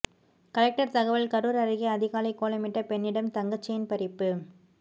collector தகவல் கரூர் அருகே அதிகாலை கோலமிட்ட பெண்ணிடம் தங்க செயின் பறிப்பு